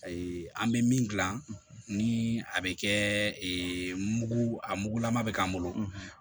an bɛ min dilan ni a bɛ kɛ mugu a mugulama bɛ k'an bolo